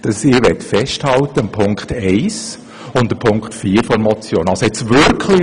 Deswegen möchte ich an Punkt 1 und Punkt 4 der Motion festhalten.